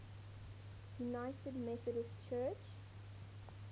united methodist church